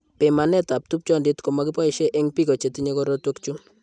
Pimanetab tupchondit ko mo kiboishe eng' biko che tinye korotwekchu.